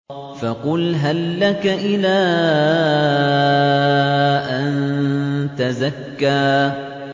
فَقُلْ هَل لَّكَ إِلَىٰ أَن تَزَكَّىٰ